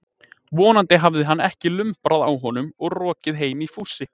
Vonandi hafði hann ekki lumbrað á honum og rokið heim í fússi.